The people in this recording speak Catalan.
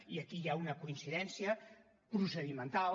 i aquí hi ha una coincidència procedimental